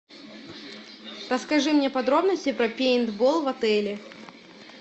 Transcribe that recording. расскажи мне подробности про пейнтбол в отеле